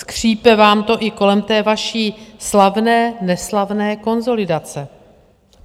Skřípe vám to i kolem té vaší slavné neslavné konsolidace.